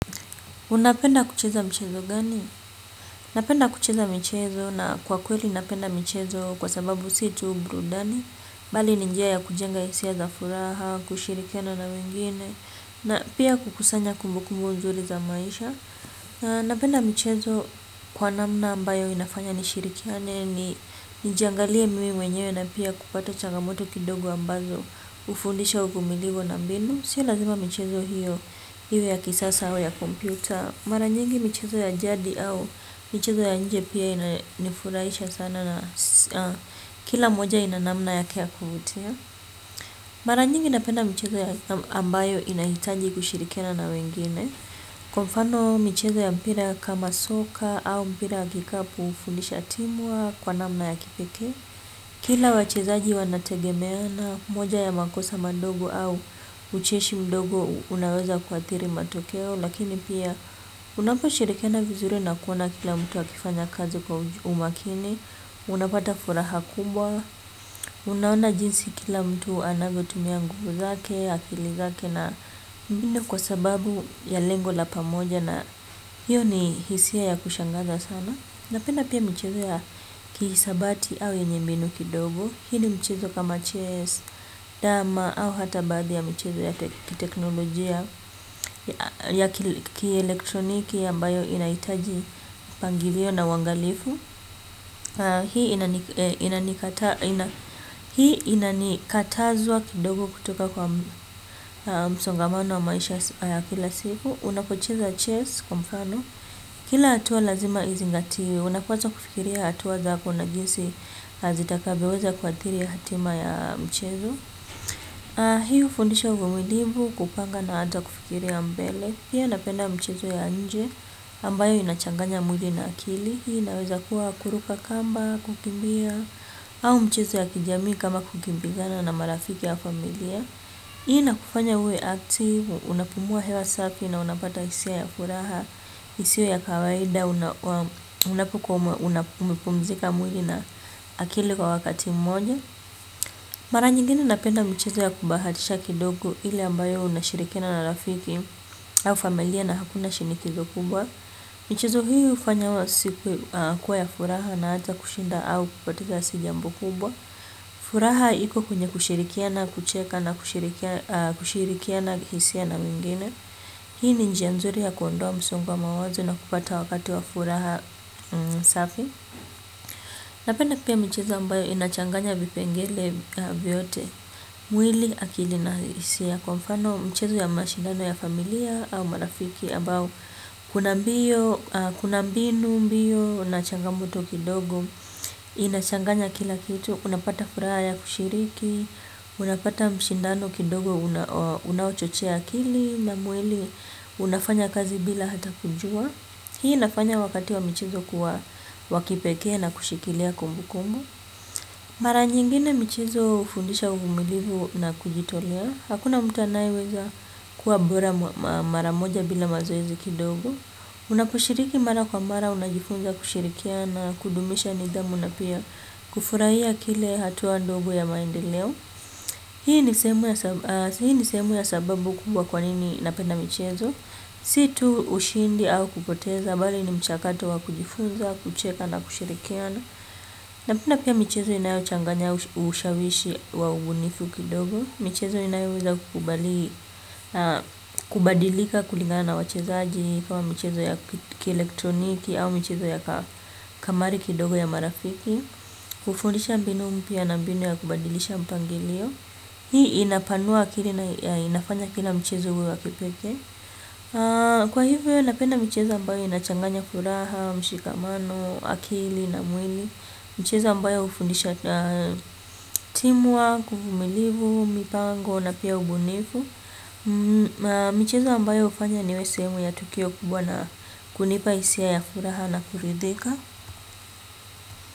Unapenda kucheza mchezo gani? Napenda kucheza mchezo na kwa kweli napenda mchezo kwa sababu si tu burudani. Bali ni njia ya kujenga hisia za furaha kushirikiana na wengine pia kukusanya kumbu kumbu nzuri za maisha na napenda michezo kwa namna ambayo inafanya nishirikiane, nijangalie mimi mwenyewe na pia kupata changamoto kidogo ambazo ufundisha uvumilivu na mbinu. Sio lazima michezo iwe ya kisasa auam ya kompyuta. Mara nyingi michezo ya jadi au michezo ya nje pia inifurahisha sana na kila moja ina namna yake ya kuvutia. Mara nyingi napenda michezo ya ambayo inahitaji kushirikena na wengine. Kwa mfano michezo ya mpira kama soka au mpira ya kikapu hufundisha team work kwa namna ya kipeke. Kila wachezaji wanategemeana, moja ya makosa mandogo au ucheshi mdogo unaweza kuathiri matokeo, lakini pia unaposhirikiana vizuri na kuona kila mtu akifanya kazi kwa umakini, unapata furaha kumbwa, unaona jinsi kila mtu anavyotumia nguvu zake, akili zake na mbinu kwa sababu ya lengo la pamoja na hiyo ni hisia ya kushangaza sana. Napenda pia michezo ya kihisabati au yenye mbinu kidogo. Hii ni mchezo kama chess, dama au hata baahi ya michezo ya teknolojia ya kielektroniki ambayo inaitaji mpangilio na uangalifu. Hii inanikatazwa kidogo kutoka kwa msongamano wa maisha ya kila siku. Unapocheza chess kwa mfano. Kila atuwa lazima izingatiwe, unapazwa kufikiria atuwa zako na jinsi azitakavyoweza kuathiri hatima ya mchezo. Hii hufundisha uvumilivu kupanga na ata kufikiria mbele. Pia napenda mchezo ya nje ambayo inachanganya mwili na akili. Hiyo inaweza kuwa kuruka kamba, kukimbia, au mchezo ya kijamii kama kukimbizana na marafiki au familia. Hii ina kufanya uwe active, unapumua hewa safi na unapata hisia ya furaha, isiyo ya kawaida, unapumzika mwili na akili kwa wakati mmoja. Mara nyingine napenda michezo ya kubahatisha kidogo ile ambayo unashirikiana na rafiki au familia na hakuna shinikizo kubwa. Michezo hufanya siku kuwa ya furaha na hata kushinda au kupatika si jambo kubwa. Furaha iko kwenye kushirikiana kucheka na kushirikiana hisia na mwingine. Hii ni njia nzuri ya kuondoa msongo wa mawazo na kupata wakati wa furaha safi. Napenda pia michezo ambayo inachanganya vipengele vyote. Mwili akili na hisia. Kwa mfano mchezo ya mashindano ya familia au marafiki ambao. Kuna mbio, kuna mbinu mbio, na changamoto kidogo. Inachanganya kila kitu unapata furaha ya kushiriki unapata mshindano kidogo unaochochea akili na mwili unafanya kazi bila hata kujua hii inafanya wakati wa michezo kuwa wa kipekee na kushikilia kumbu kumbu. Mara nyingine michezo hufundisha uvumilivu na kujitolea. Hakuna mtu anayeweza kuwa bora mara moja bila mazoezi kidogo na kushiriki mara kwa mara una jifunza kushirikiana kudumisha nidhamu na pia kufurahia kile hatuwa ndogo ya maendeleo. Hii ni seemu ya sababu kubwa kwanini napenda michezo. Situ ushindi au kupoteza bali ni mchakato wa kujifunza, kucheka na kushirikiana napenda pia michezo inayo changanya ushawishi wa ubunifu kidogo. Michezo inayoweza kukubali kubadilika kulingana na wachezaji kama michezo ya kielektroniki au michezo ya kamari kidogo ya marafiki. Kufundisha mbinu mpya na mbinu ya kubadilisha mpangilio. Hii inapanua akili na inafanya kila mchezo uwe wakipekee. Kwa hivyo napenda michezo ambayo inachanganya furaha, mshikamano, akili na mwili. Mchezo ambayo hufundisha team work, uvumilivu, mipango na pia ubunifu. Mchezo ambayo ufanya niwe seemu ya tukio kubwa na kunipa isia ya furaha na kuridhika.